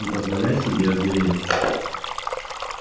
не позволяй себе озвереть